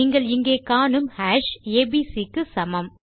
நீங்கள் இங்கே காணும் ஹாஷ் ஏபிசி க்கு சமம்